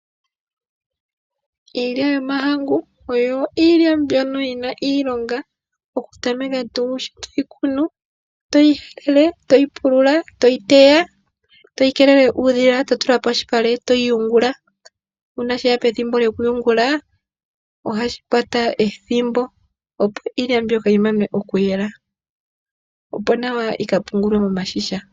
Iilya yomahangu oyo iilya mbyono yi na iilonga okutameka tuu sho to yi pulula, to yi kunu, to yi helele, to yi teya, to yi keelele uudhila, to yi tula polupale, to yi yungula nuuna she ya pethimbo lyokuyungula, ohashi kwata ethimbo, opo iilya mbyoka yi pwe okuyelwa, opo nawa yi ka pungulwe momashisha.